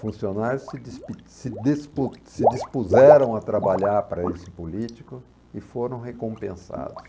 Funcionários se despi se despus se dispuseram a trabalhar para esse político e foram recompensados.